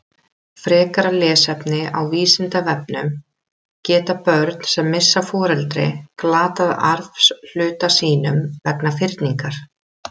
Frekara lesefni á Vísindavefnum: Geta börn sem missa foreldri glatað arfshluta sínum vegna fyrningar?